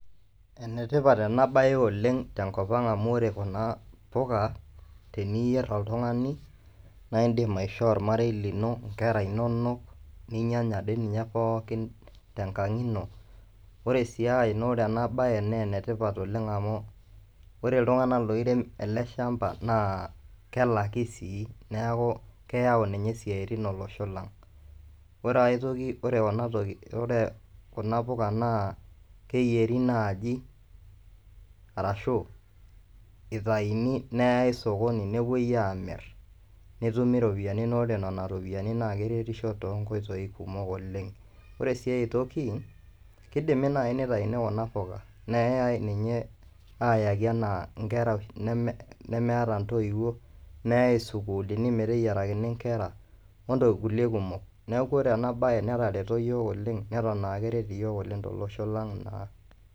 Enetipat ena bae oleng tenkopang amu ore kuna puka teniyierr oltung'ani naindim aishoo ormarei lino, nkera inonok, ninyanya dei ninye pookin tenkang' ino. Ore sii ae naa ore ena bae naa enetipat oleng amu ore iltung'anak loirem ele shamba naa kelaki sii. Neeku keyau ninye isiaitin olosho lang. Ore ae toki, ore kuna puka naa keyieri naaji arashu itaini neyae sokoni nepwoi aamirr netumi iropiyiani naa ore nena ropiyiani naa keretisho toonkoitoi kumok oleng. Ore sii ae toki, kidimi naai nitaini kuna puka neyae ninye ayaki enaa nkera nemeeta ntoiwuo, neyae isukuulini meteyierakini inkera ontokiting kulie kumok. Neeku ore ena bae netareto yiok oleng neton aa keret iyiok tolosho lang naa